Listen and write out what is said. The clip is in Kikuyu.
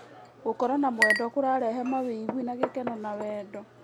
Gũkorwo na mwendwa kũrarehe mawĩgwi ma gĩkeno na wendo.